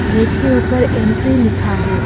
Gate के ऊपर entry लिखा है।